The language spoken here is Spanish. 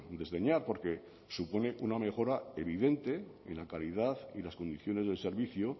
desdeñar porque supone una mejora evidente en la calidad y las condiciones del servicio